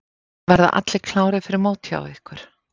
Verða allir klárir fyrir mót hjá ykkur?